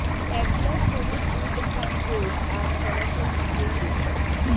এক গ্লাস হলুদ দুধ খান রোজ আর ফলাফল নিজেই দেখুন